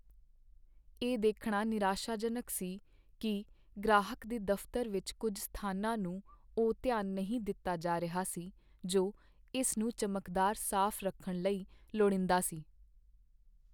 ਇਹ ਦੇਖਣਾ ਨਿਰਾਸ਼ਾਜਨਕ ਸੀ ਕੀ ਗ੍ਰਾਹਕ ਦੇ ਦਫਤਰ ਵਿੱਚ ਕੁੱਝ ਸਥਾਨਾਂ ਨੂੰ ਉਹ ਧਿਆਨ ਨਹੀਂ ਦਿੱਤਾ ਜਾ ਰਿਹਾ ਸੀ ਜੋ ਇਸ ਨੂੰ ਚਮਕਦਾਰ ਸਾਫ਼ ਰੱਖਣ ਲਈ ਲੋੜੀਂਦਾ ਸੀ।